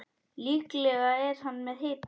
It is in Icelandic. Líklega er hann með hita.